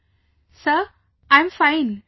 Vijayashanti ji Sir, I am fine